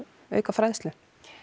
auka fræðslu